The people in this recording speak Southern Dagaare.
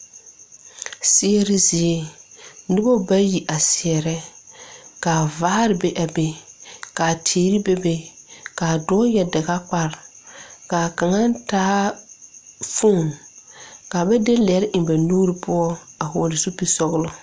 Seɛre zie noba bayi a seɛrɛ ka vaare be a be ka teere bebe ka dɔɔ yɛre dagakpare ka kaŋa taa foni ka ba de lɛre eŋ ba nuuri poɔ a hɔgle zupilisɔglɔ.